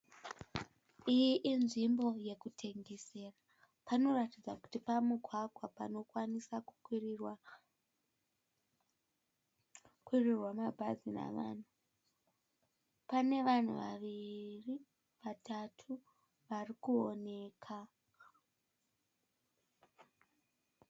Iyi inzvimbo yekutengesera. Panoratidza kuti pamugwagwa panokwanisa kukwirirwa mabhazi nevanhu. Pane vanhu vaviri/ vatatu varikuoneka.